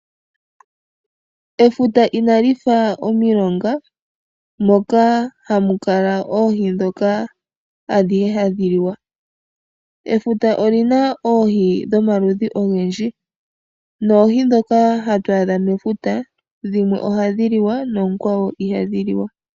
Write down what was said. Efuta ina lifa omilonga moka hamu kala oohi dhoka hadhi liwa, efuta olina oohi dhomaludhi ogendji ,noohi dhoka hatu adha mefuta dhimwe ohadhi liwa noonkwawo ihadhi liwa.